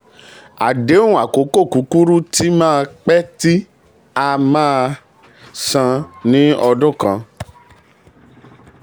àdéhùn àkókò kúkúrú tí máa um pé tí a máa um san um ní ọdún kan.